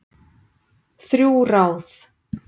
Þrjú ráð